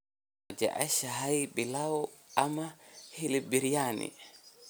Ma jeceshahay pilau ama hilib biryani?